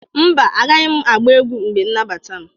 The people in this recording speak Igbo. mba, Agaghị m agba egwu mgbe nmabata m.